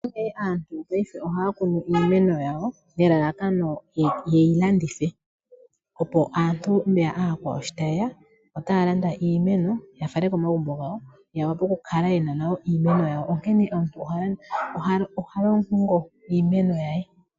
Ngaashingeyi aantu ohaya kunu iimeno yawo nelalakano ye yi landithe, opo aantu shi taye ya ya landa iimeno ya fale komagumbo gawo ya wape okukala ye na iimeno yawo, onkene omuntu oha longo iimeno ye.